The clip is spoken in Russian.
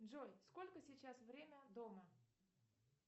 джой сколько сейчас время дома